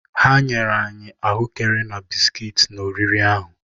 Ha nyere anyị ahụekere na bisikiiti n’oriri ahụ.